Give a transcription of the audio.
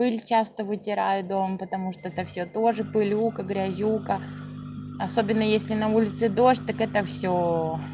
пыль часто вытираю дома потому что это всё тоже пылюку грязюка особенно если на улице дождь так это всё